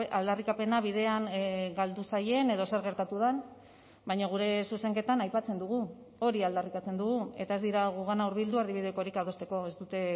aldarrikapena bidean galdu zaien edo zer gertatu den baina gure zuzenketan aipatzen dugu hori aldarrikatzen dugu eta ez dira gugana hurbildu erdibidekorik adosteko ez dute